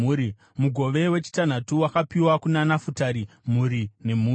Mugove wechitanhatu wakapiwa kuna Nafutari, mhuri nemhuri: